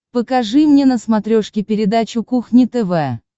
покажи мне на смотрешке передачу кухня тв